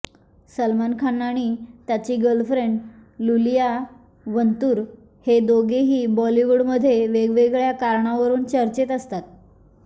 सलमान खान आणि त्याची girlfriend Iulia Vantur हे दोघेही बॉलीवूडमध्ये वेगवेगळ्या कारणावरून चर्चेत असतात